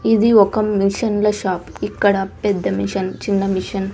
ఇది ఒక మిషన్ల షాప్ ఇక్కడ పెద్ద మిషన్ చిన్న మిషన్ --